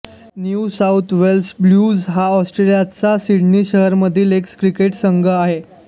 new South Wales Blues हा ऑस्ट्रेलियाच्या Sydney शहरामधील एक क्रिकेट संघ आहे